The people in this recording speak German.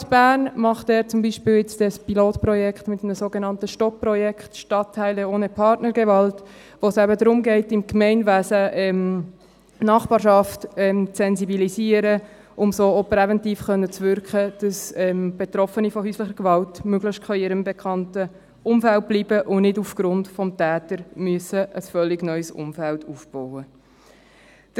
Die Stadt Bern macht hier zum Beispiel ein Pilotprojekt mit dem sogenannten Projekt «STOP, Stadtteile ohne Partnergewalt», wo es darum geht, im Gemeinwesen die Nachbarschaft zu sensibilisieren, um so präventiv wirken zu können, damit Betroffene von häuslicher Gewalt möglichst in ihrem bekannten Umfeld bleiben können und nicht aufgrund des Täters ein völlig neues Umfeld aufbauen müssen.